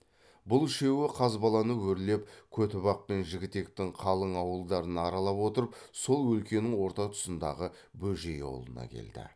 бұл үшеуі қазбаланы өрлеп көтібақ пен жігітектің қалың ауылдарын аралап отырып сол өлкенің орта тұсындағы бөжей аулына келді